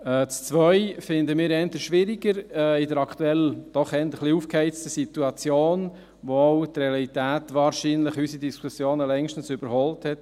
Den Punkt 2 finden wir eher schwieriger in der aktuell doch eher ein wenig aufgeheizten Situation, in der auch die Realität wahrscheinlich unsere Diskussionen hier längstens überholt hat.